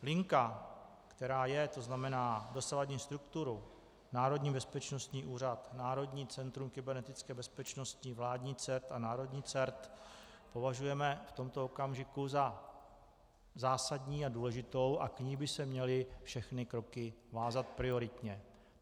Linka, která je - to znamená dosavadní strukturu, Národní bezpečnostní úřad, Národní centrum kybernetické bezpečnosti, vládní CERT a národní CERT -, považujeme v tomto okamžiku za zásadní a důležitou a k ní by se měly všechny kroky vázat prioritně.